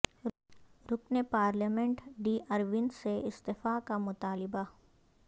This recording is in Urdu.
رکن پارلیمنٹ ڈی اروند سے استعفی کا مطالبہ